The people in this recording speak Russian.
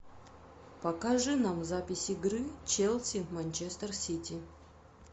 покажи нам запись игры челси манчестер сити